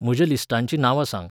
म्हज्या लिस्टांचीं नांवां सांग